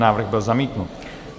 Návrh byl zamítnut.